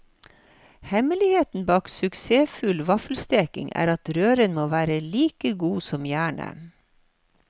Hemmeligheten bak suksessfull vaffelsteking, er at røren må være like god som jernet.